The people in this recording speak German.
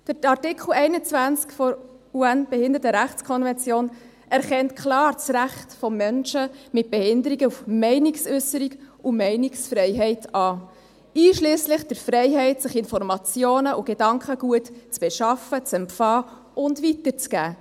Artikel 21 der UNO-Behindertenrechtskonvention erkennt klar das Recht von Menschen mit Behinderungen an auf «Meinungsäusserung und Meinungsfreiheit, einschliesslich der Freiheit, Informationen und Gedankengut sich zu beschaffen, zu empfangen und weiterzugeben».